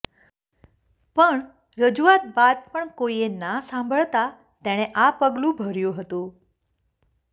પણ રજૂઆત બાદ પણ કોઇએ ના સાંભળતા તેણે આ પગલું ભર્યું હતું